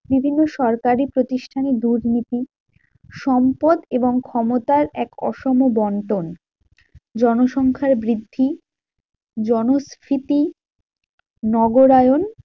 বিভিন্ন সরকারি প্রতিষ্ঠানে দুর্নীতি, সম্পদ এবং ক্ষমতার এক অসম বন্টন, জনসংখ্যার বৃদ্ধি, জনস্ফীতি, নগরায়ন